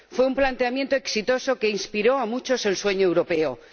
Fue un planteamiento exitoso que inspiró a muchos el sueño europeo.